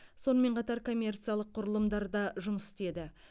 сонымен қатар коммерциялық құрылымдарда жұмыс істеді